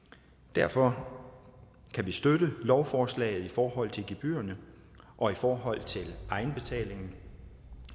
derfor kan vi støtte lovforslaget i forhold til gebyrerne og i forhold til egenbetalingen